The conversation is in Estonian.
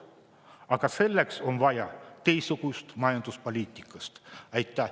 Aga selleks on vaja teistsugust majanduspoliitikat.